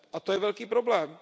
A to je velký problém.